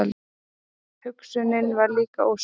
Hugsunin var líka óskýr.